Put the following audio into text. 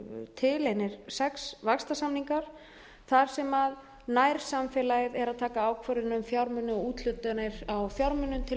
til einir sex vaxtarsamninga þar sem nærsamfélagið er að taka ákvörðun um fjármuni og úthlutanir á fjármunum til